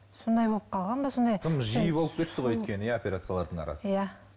сондай болып қалған ба сондай тым жиі болып кетті ғой өйткені иә операциялардың арасы иә